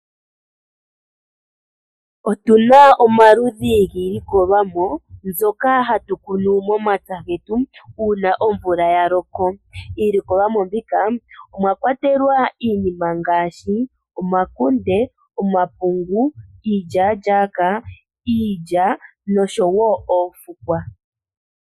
Otuna omaludhi giilikolomwa, mbyoka hatu kunu mompya getu, uuna omvula yaloka. Iilikolomwa mbika, omwa kwatelwa iinima ngaashi, omakunde, omapungu, iilyaalyaaka, iilya, noshowo oofukwa.